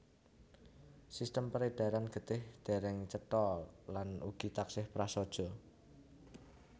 Sistem peredaran getih dèrèng cetha lan ugi taksih prasaja